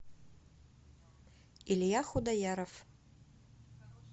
илья худояров